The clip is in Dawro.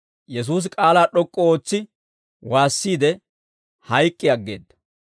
Yesuusi k'aalaa d'ok'k'u ootsi waassiide, hayk'k'i aggeedda.